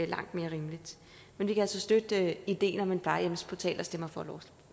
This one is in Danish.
langt mere rimeligt men vi kan altså støtte ideen om en plejehjemsportal og stemmer for